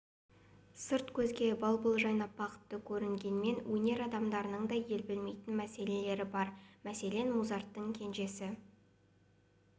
сырт көзге бал-бұл жайнап бақытты көрінгенімен өнер адамдарының да ел білмейтін мәселелері бар мәселен музарттың кенжесі